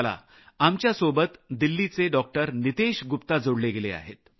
आता आपल्यासोबत दिल्लीचे डॉक्टर नितेश गुप्ता जोडले गेले आहेत